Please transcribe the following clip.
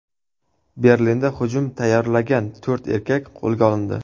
Berlinda hujum tayyorlagan to‘rt erkak qo‘lga olindi.